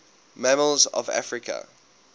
mammals of africa